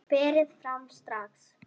Berið fram strax.